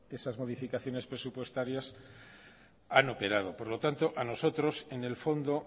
esas modificaciones presupuestarias han operado por lo tanto a nosotros en el fondo